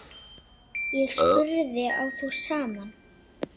Ég spurði: Á þú símann?